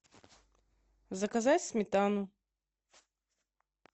заказать сметану